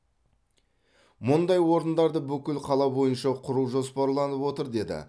мұндай орындарды бүкіл қала бойынша құру жоспарланып отыр деді